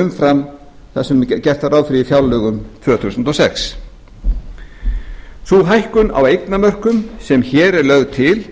umfram fjárlög tvö þúsund og sex sú hækkun á eignamörkum sem hér er lögð til